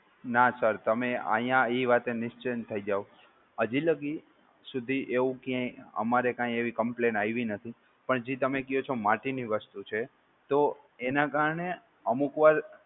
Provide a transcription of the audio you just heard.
ના સર તમે આયા એ વાત એ નિચિંત થઈ જાઓ હજી લગી સુધી એવું ક્યાય અમારે કાંઈ એવી complain આવી નથી પણ જે તમે ક્યો છો માટીની વસ્તુ છે તો એના કારણે અમુક વાર